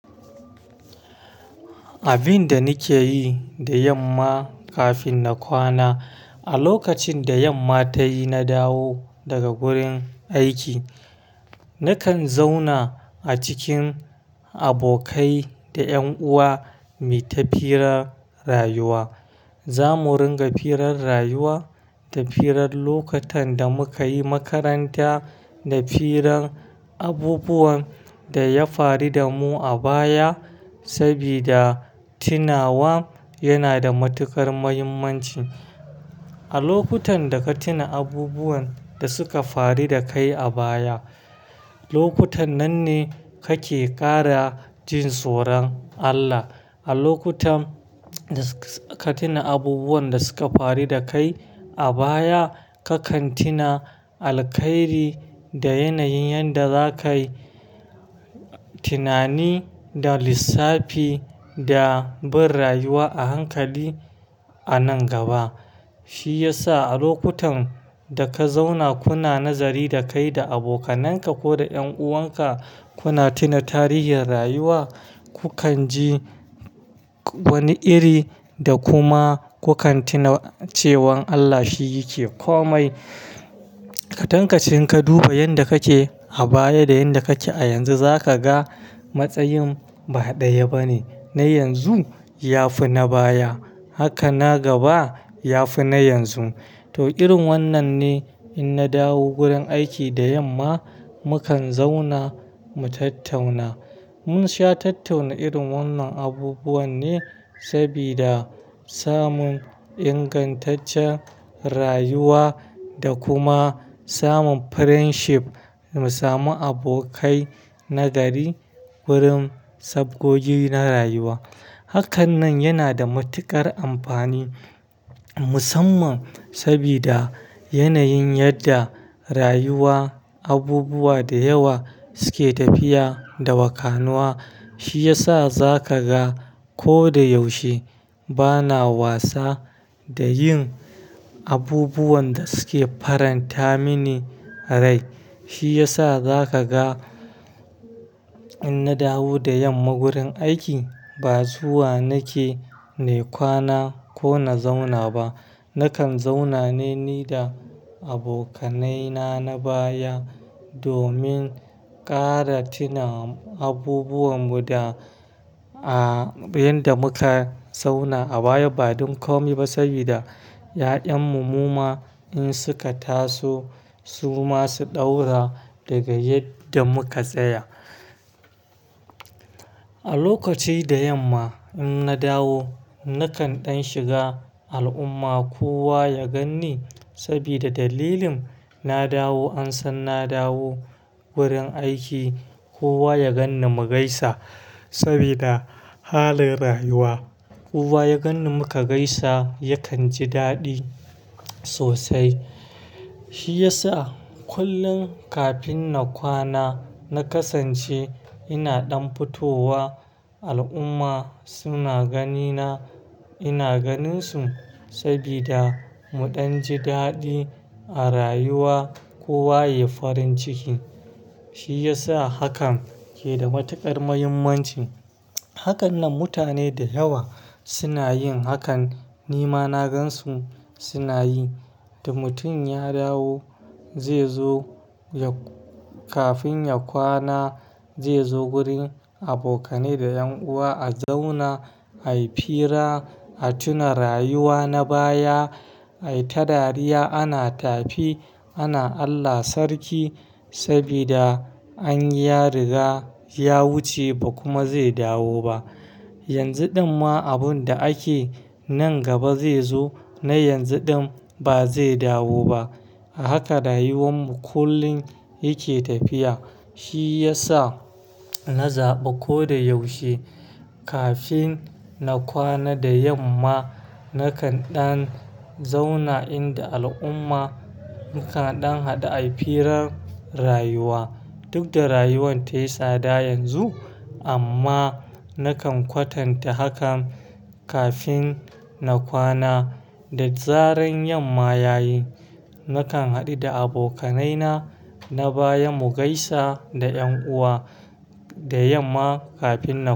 Abin da nike yi da yamma kafin na kwana, a lokacin da yamma tayi, na dawo daga gurin aiki, nakan zauna a cikin abokai da ƴan'uwa, mu tafi rarrayuwa. Za mu ringa firar rayuwa da firar lokutan da muka yi makaranta da firar abubuwan da ya faru da mu a baya. Sabida tinawa yana da matuƙar muhimmanci. A lokutan da ka tina abubuwan da suka faru da kai a baya, lokutan nan ne kake ƙara jin tsoron Allah. A lokutan da ka tina abubuwan da suka faru da kai a baya, ka kan tina alkairi da yanayin yadda zakai tinani da lissafi da bin rayuwa a hankali a nan gaba. Shi yasa a lokutan da ka zauna kuna nazari da kai da abokanan ka ko da ƴan'uwan ka, kuna tina tarihin rayuwa, ku kan ji wani iri da kuma ku kan tina cewan Allah shi yake komai. Ka tankashe, in ka duba yanda kake a baya da yanda kake a yanzu, zaka ga matsayin ba ɗaya bane. Na yanzu ya fi na baya, hakan na gaba ya fi na yanzu. To, irin wannan ne in na dawo gurin aiki da yamma, mukan zauna mu tattauna. Mun sha tattauna irin wannan abubuwan ne, sabida samun ingantaccen rayuwa da kuma samun friendship, mu sami abokai nagari wurin sabgogi na rayuwa. Hakan nan yana da matuƙar amfani musamman sabida yanayin yadda rayuwa abubuwa da yawa suke tafiya da wakanuwa. Shi yasa za ka ga ko da yaushe bana wasa da yin abubuwan da suke faranta mini rai. Shi yasa za ka ga in na dawo da yamma gurin aiki, ba zuwa nake ne kwana ko na zauna ba. Nakan zauna ne ni da abokanaina na baya domin ƙara tina abubuwan mu da, ah, inda muka zauna a baya. Ba don komai ba, sabida ƴa'ƴanmu mu ma in suka taso, su ma su ɗaura daga inda muka tsaya. A lokaci da yamma in na dawo, nakan ɗan shiga al'umma kowa ya gan ni sabida dalilin na dawo an san na dawo wurin aiki, kowa ya gan ni mu gaisa sabida halin rayuwa. Kowa ya gan ni muka gaisa, yakan ji daɗi sosai. Shi yasa kullum kafin na kwana, na kasance ina ɗan fitowa al'umma suna gani na, ina ganin su sabida mu ɗan ji daɗi a rayuwa, kowa ya yi farin ciki. Shi yasa hakan ke da matuƙar muhimmanci. Hakanan mutane da yawa suna yin hakan. Ni ma na gan su suna yi. Da mutum ya dawo, zai zo ya-- kafin ya kwana, zai zo gurin abokanai da ƴan'uwa a zauna, a yi fira, a tuna rayuwa na baya, a yi ta dariya. Ana tafi, ana Allah sarki sabida an yi ya riga ya wuce ba kuma zai dawo ba. Yanzu ɗin ma abun da ake nan gaba zai zo, na yanzu ɗin ba zai dawo ba. Haka rayuwan mu kullum yake tafiya. Shi yasa na zaɓa ko da yaushe kafin na kwana da yamma, nakan ɗan zauna inda al'umma, nakan ɗan haɗu a yi firan rayuwa. Duk da rayuwan ta yi tsada yanzu amma nakan kwatanta hakan kafin na kwana. Da tsaran yamma ya yi, nakan haɗu da abokanaina na baya mu gaisa da ƴan'uwa da yamma kafin na.